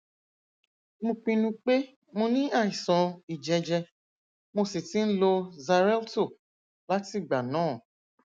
mo pinnu pé mo ní àìsàn ìjẹjẹ mo sì ti ń lo xarelto látìgbà náà